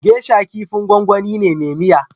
Gesha kifin gwangwani ne me miya